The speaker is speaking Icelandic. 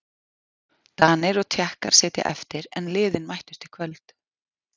Danir og Tékkar sitja eftir en liðin mættust í kvöld.